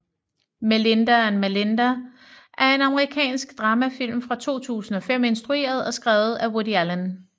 Melinda and Melinda er en amerikansk dramafilm fra 2005 instrueret og skrevet af Woody Allen